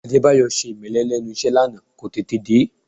Adébáyọ̀ ṣe ìmẹ́lẹ́ lẹ́nu iṣẹ́ lánàá, kò tètè dé